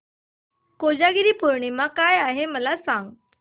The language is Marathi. कोजागिरी पौर्णिमा काय आहे मला सांग